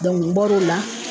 n bɔr'o la